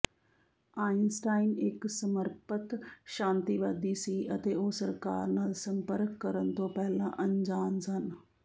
Einstein ਇੱਕ ਸਮਰਪਤ ਸ਼ਾਂਤੀਵਾਦੀ ਸੀ ਅਤੇ ਉਹ ਸਰਕਾਰ ਨਾਲ ਸੰਪਰਕ ਕਰਨ ਤੋਂ ਪਹਿਲਾਂ ਅਣਜਾਣ ਸਨ